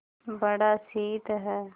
बड़ा शीत है